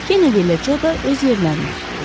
Keneddi ilə Co da öz yerlərini tutdular.